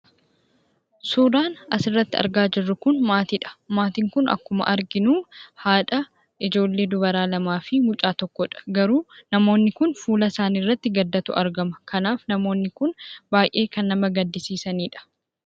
Suuraan asi irratti argaa jiruu kun maatiidha. Maatiin kun akkuma arginu haadha, ijjoollee dubaraa lama (2)fi mucaa tokko (1)dha. Garuu namoonin kun fuulaa isaani irratti gaddaatu argama. Kanaaf namooni kun baay'ee kan nama gadiisisaanidha.